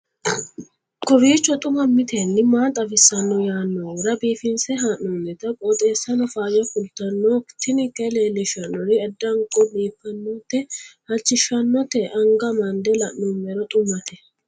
kowiicho xuma mtini maa xawissanno yaannohura biifinse haa'noonniti qooxeessano faayya kultanno tini kayi leellishshannori addanko biiffannote halchishshannote anga amande la'noommero xumate